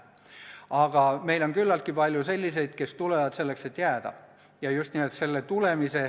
Aga meil on küllalt palju ka selliseid, kes tulevad selleks, et jääda.